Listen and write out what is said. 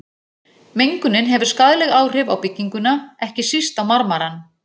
Mengunin hefur skaðleg áhrif á bygginguna, ekki síst á marmarann.